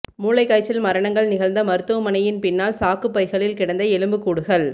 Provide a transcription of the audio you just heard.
மூளைக் காய்ச்சல் மரணங்கள் நிகழ்ந்த மருத்துவமனையின் பின்னால் சாக்குப் பைகளில் கிடந்த எலும்புக்கூடுகள்